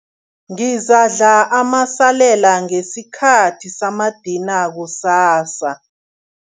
Ngizakudla amasalela ngesikhathi samadina kusasa.